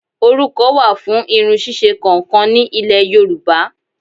Orúkọ wà fún irun ṣíṣe kọ̀ọ̀kan ni Ilẹ̀ Yorùbá